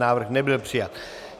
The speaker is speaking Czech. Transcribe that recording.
Návrh nebyl přijat.